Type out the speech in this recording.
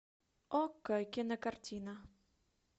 окко кинокартина